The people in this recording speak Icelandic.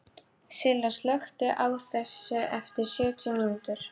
Silla, slökktu á þessu eftir sjötíu mínútur.